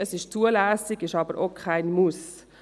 Es wäre zulässig, aber auch kein Muss.